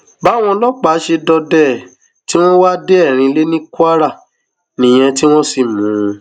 báwọn ọlọpàá ṣe dọdẹ ẹ tí wọn wá a dé erinilẹ ní kwara nìyẹn tí wọn sì mú un